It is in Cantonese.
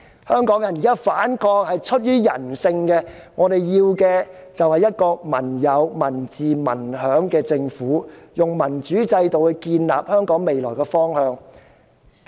香港人現時反抗，是出於人性，我們要求的是一個"民有、民治、民享"的政府，希望能以民主制度訂立香港未來的方向。